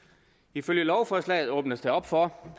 ifølge lovforslaget åbnes der op for